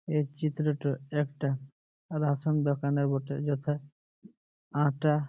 এই চিত্র টা একটা রেশন দোকানে বটে যথা আটা